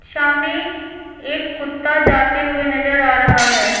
सामने एक कुत्ता जाते हुए नजर आ रहा है।